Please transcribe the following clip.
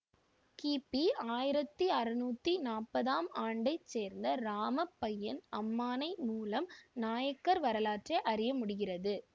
கிபி ஆயிரத்தி அறுநூற்றி நாற்பதாம் ஆண்டைச் சேர்ந்த இராமப்பய்யன் அம்மானை மூலம் நாயக்கர் வரலாற்றை அறிய முடிகிறது